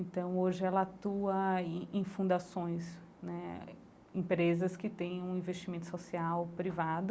Então hoje ela atua em fundações né, empresas que têm um investimento social privado.